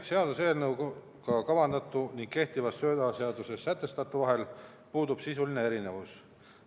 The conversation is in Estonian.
Seaduseelnõuga kavandatu ning kehtivas söödaseaduses sätestatu vahel puudub sisuline erinevus.